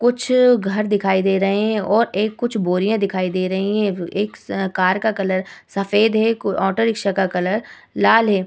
कुछ घर दिखाई दे रहे हैं और एक कुछ बोरियाँ दिखाई दे रही हैं। एक स कार का कलर सफेद है। कु ऑटो रीक्शा का कलर लाल है।